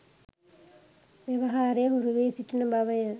ව්‍යවහාරය හුරුවී සිටින බවය.